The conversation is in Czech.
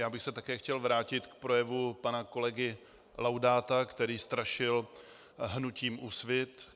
Já bych se také chtěl vrátit k projevu pana kolegy Laudáta, který strašil hnutím Úsvit.